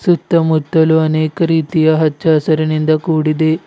ಸುತ್ತ ಮುತ್ತಲು ಅನೇಕ ರೀತಿಯ ಹಚ್ಚ ಹಸಿರಿನಿಂದ ಕೂಡಿದೆ.